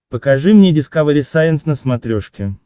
покажи мне дискавери сайенс на смотрешке